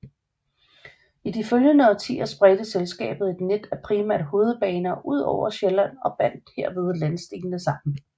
I de følgende årtier spredte selskabet et net af primært hovedbaner udover Sjælland og bandt derved landsdelene sammen